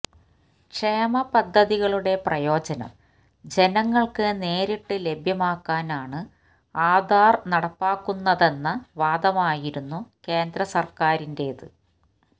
ക്ഷേമപദ്ധതികളുടെ പ്രയോജനം ജനങ്ങൾക്ക് നേരിട്ട് ലഭ്യമാക്കാനാണ് ആധാർ നടപ്പാക്കുന്നതെന്ന വാദമായിരുന്നു കേന്ദ്രസർക്കാറിന്റെത്